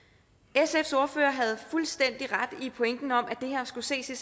sfs ordfører havde fuldstændig ret i pointen om at det her skulle ses i